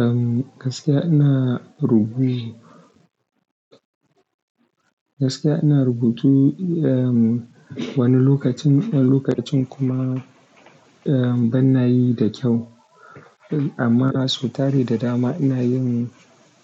Erm, gaskiya ina ɗaga buj gaskiya ina rubutu, erm, wani lokacin, wani lokacin kuma, erm, bana yi da kyau. Amma sau tare da dama ina yin,